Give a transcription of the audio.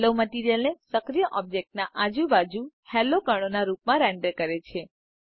હાલો મટીરીઅલને સક્રિય ઓબ્જેક્ટના આજુ બાજુ હાલો કણોના રૂપમાં રેન્ડર કરે છે